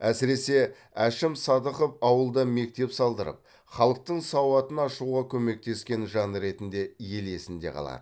әсіресе әшім садықов ауылда мектеп салдырып халықтың сауатын ашуға көмектескен жан ретінде ел есінде қалады